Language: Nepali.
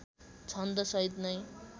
छन्द सहित नै